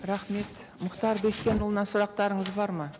рахмет мұхтар бескенұлына сұрақтарыңыз бар ма